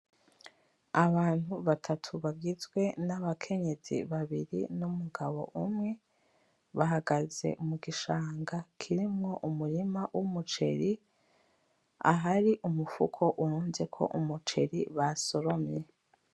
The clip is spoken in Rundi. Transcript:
Abantu batatu bagizwe n'abakenyezi babiri n'umugabo umwe, bahagaze mugishanga kirimwo umurima w'umuceri, ahari umufuko urunzeko umuceri basoromye .